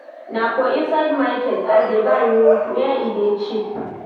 Na for inside market I dey buy o, where e dey cheap.